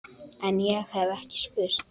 En- ég hef ekki spurt.